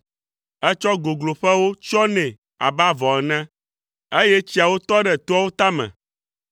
Ètsɔ gogloƒewo tsyɔ nɛ abe avɔ ene, eye tsiawo tɔ ɖe toawo tame.